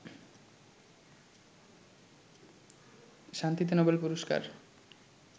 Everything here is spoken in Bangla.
শান্তিতে নোবেল পুরস্কার